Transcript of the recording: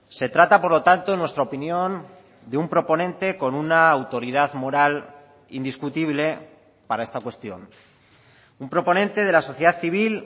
se trata por lo tanto en nuestra opinión de un proponente con una autoridad moral indiscutible para esta cuestión un proponente de la sociedad civil